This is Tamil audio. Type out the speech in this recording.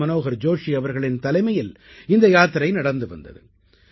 முரளி மனோகர் ஜோஷி அவர்களின் தலைமையில் இந்த யாத்திரை நடந்து வந்தது